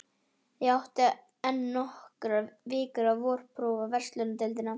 Ég átti enn eftir nokkrar vikur til vorprófa í verslunardeildinni.